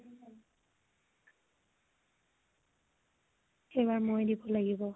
এইবাৰ মই দিব লাগিব ।